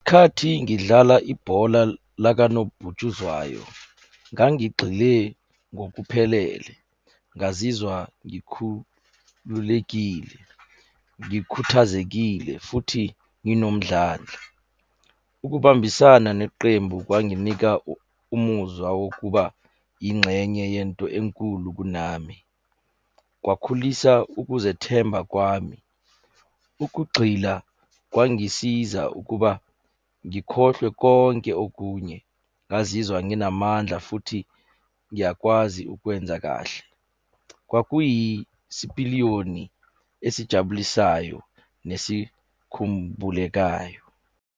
Khathi ngidlala ibhola lakanobhutshuzwayo, ngangigxile ngokuphelele. Ngazizwa ngikhululekile, ngikhuthazekile futhi nginomdlandla. Ukubambisana neqembu kwanginika umuzwa wokuba ingxenye yento enkulu kunami. Kwakhulisa ukuzethemba kwami. Ukugxila, kwangisiza ukuba ngikhohlwe konke okunye, ngazizwa nginamandla, futhi ngiyakwazi ukwenza kahle. Kwakuyisipiliyoni esijabulisayo nesikhumbulekayo.